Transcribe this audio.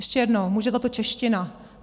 Ještě jednou: může za to čeština.